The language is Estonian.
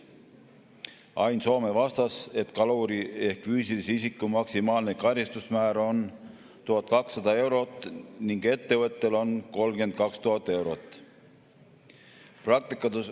Ain Soome vastas, et kaluri ehk füüsilise isiku maksimaalne karistusmäär on 1200 eurot ning ettevõttel on see 32 000 eurot.